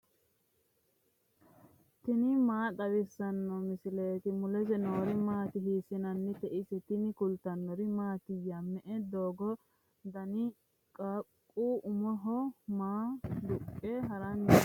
tini maa xawissanno misileeti ? mulese noori maati ? hiissinannite ise ? tini kultannori mattiya? me'e doogo xaadinno? qaaqqu umoho maa duqqe haranni noo?